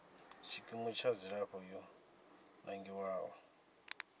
tshikimu tsha dzilafho yo nangiwaho